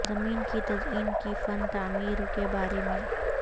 زمین کی تزئین کی فن تعمیر کے بارے میں